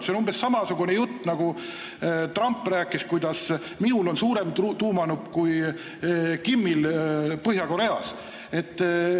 See on umbes samasugune jutt, nagu Trump rääkis, kuidas tal on suurem tuumanupp kui Kimil Põhja-Koreas.